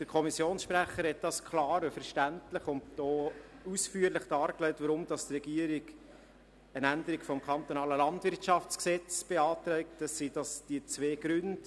Der Kommissionssprecher hat klar, verständlich und auch ausführlich dargelegt, weshalb die Regierung eine Änderung des Kantonalen Landwirtschaftsgesetzes (KLwG) beantragt, und zwar aus den folgenden beiden Gründen: